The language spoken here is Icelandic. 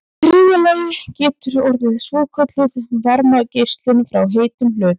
í þriðja lagi getur orðið svokölluð varmageislun frá heitum hlut